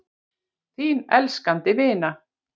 Þín elskandi vina